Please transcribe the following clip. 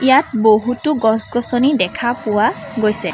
ইয়াত বহুতো গছ-গছনি দেখা পোৱা গৈছে।